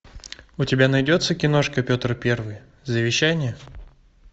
у тебя найдется киношка петр первый завещание